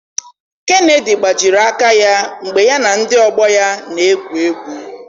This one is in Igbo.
Kennedy gbajiri aka ya mgbe ya na ndị ọgbọ ya na-egwu egwu.